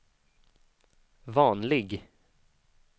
vanlig